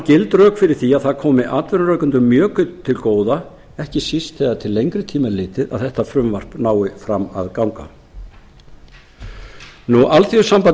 gild rök fyrir því að það komi atvinnurekendum mjög til góða ekki síst þegar til lengri tíma er litið að frumvarp þetta nái fram að ganga alþýðusamband